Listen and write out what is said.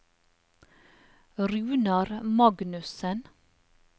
Runar Magnussen